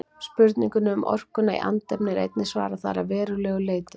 Spurningunni um orkuna í andefni er einnig svarað þar að verulegu leyti.